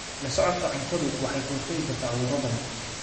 La socodka cuntadu waxay ka hortagtaa cuduro badan.